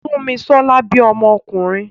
Súnmisọ́lá bí ọmọ ọkùnrin